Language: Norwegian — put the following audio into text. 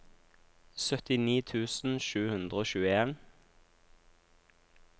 syttini tusen sju hundre og tjueen